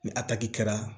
Ni a taki kɛra